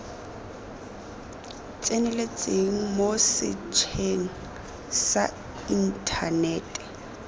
tseneletseng mo setsheng sa inthanete